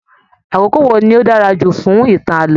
Àkókò wo ní o dára jù fún ìtàn ààlọ́?